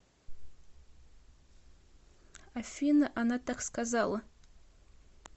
афина она так сказала